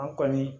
An kɔni